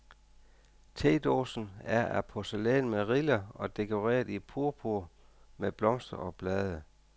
Tedåsen er af porcelæn med riller og dekoreret i purpur med blomster og blade.